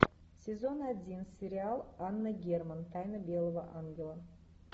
сезон один сериал анна герман тайна белого ангела